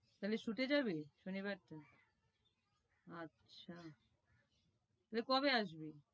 তাহলে shoot এ যাবি শনি বারটা আচ্ছা তাহলে কবে আসবি?